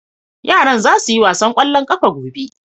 yaran za su yi wasan kwallon ƙafa gobe